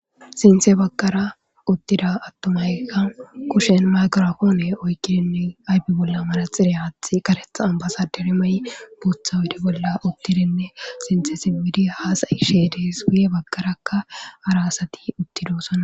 Sintha baggara, uttira attuma mayka Kushan mayke oyqqidine, ayfe bollan manatseriya aththi, karetsa ambasadere mayo, botha oyidde bolla uttirine Sintha simiddi haasayishe de'ees, guye baggarakka hara asati uttidosona.